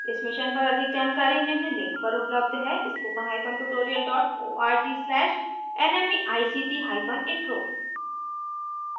इस मिशन पर अधिक जानकारी निम्न लिंक पर उपलब्ध है spoken hyphen tutorial dot org slash nmeict hyphen intro